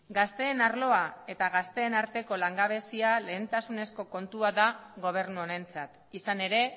gazteen arloa eta gazteen arteko langabezia lehentasunezko kontua da gobernu honentzat izan ere